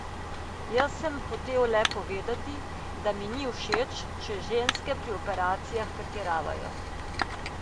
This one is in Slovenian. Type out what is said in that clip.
Jaz sem hotel le povedati, da mi ni všeč, če ženske pri operacijah pretiravajo.